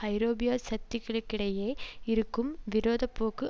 ஐரோப்பிய சக்திகளுக்கிடையே இருக்கும் விரோத போக்கு